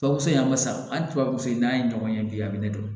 Tubabu se in ma sa hali tubabu so in n'a ye ɲɔgɔn ye bi a bɛ ne dɔn